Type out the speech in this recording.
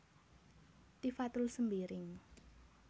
Tifatul Sembiring